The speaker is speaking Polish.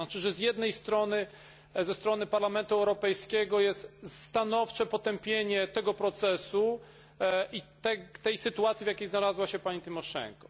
To znaczy, że z jednej strony, ze strony Parlamentu Europejskiego jest stanowcze potępienie tego procesu i tej sytuacji, w jakiej znalazła się pani Tymoszenko.